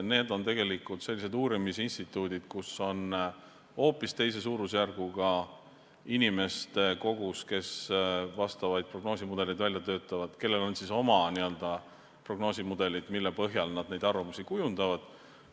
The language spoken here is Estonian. Need on tegelikult uurimisinstituudid, kus on hoopis teise suurusjärguga inimeste kogus, kes prognoosimudeleid välja töötavad, on oma n-ö prognoosimudelid, mille põhjal nad arvamusi kujundavad.